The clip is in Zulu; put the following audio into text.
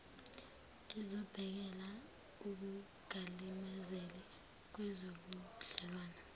ezobhekela ukungalimazeki kwezobudlelwane